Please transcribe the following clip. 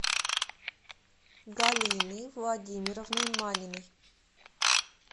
галиной владимировной маниной